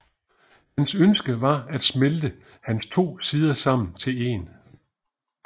Hans ønske var at smelte hans to sider sammen til én